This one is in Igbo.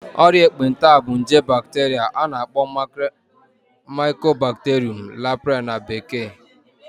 Ọrịa ekpenta bụ nje bacteria a na-akpọ Mycobacterium leprae na bekee